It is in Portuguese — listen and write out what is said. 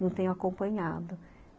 Não tenho acompanhado.